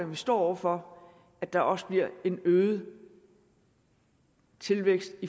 man står over for at der også bliver en øget tilvækst